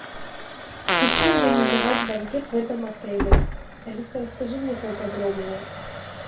хочу организовать банкет в этом отеле алиса расскажи мне поподробнее